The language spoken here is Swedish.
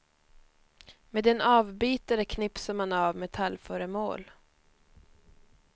Med en avbitare knipsar man av metallföremål.